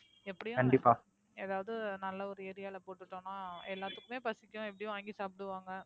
எப்படியும் கண்டிபா ஏதாவது நல்ல ஒரு Area ல போட்டுட்டோம்னா எல்லாத்துக்குமே பசிக்கும் எப்படியும் வாங்கி சாப்புடுவாங்க